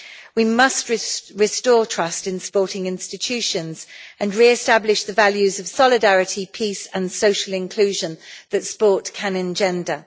We must restore trust in sporting institutions and re establish the values of solidarity, peace and social inclusion that sport can engender.